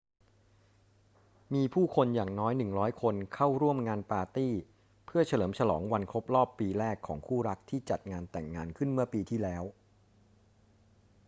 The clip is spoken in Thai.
มีผู้คนอย่างน้อย 100 คนเข้าร่วมงานปาร์ตี้เพื่อเฉลิมฉลองวันครบรอบปีแรกของคู่รักที่จัดงานแต่งงานขึ้นเมื่อปีที่แล้ว